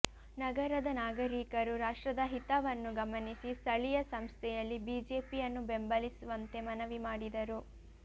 ನಗರದ ನಾಗರೀಕರು ರಾಷ್ಟ್ರದ ಹಿತವನ್ನು ಗಮನಿಸಿ ಸ್ಥಳೀಯ ಸಂಸ್ಥೆಯಲ್ಲಿ ಬಿಜೆಪಿಯನ್ನು ಬೆಂಬಲಿಸುವಂತೆ ಮನವಿ ಮಾಡಿದರು